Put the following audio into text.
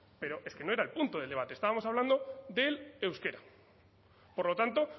pero es que no era el punto del debate estábamos hablando del euskera por lo tanto